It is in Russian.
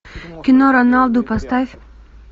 кино роналду поставь